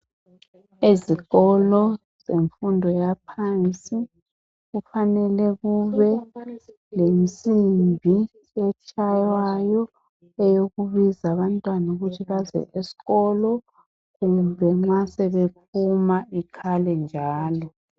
Ezikolo zemfundo yaphansi kufanele kube lensimbi etshayiwayo eyokubiza abantwana ukuthi baze eskolo kumbe nxa sebephuma ikhale njalo.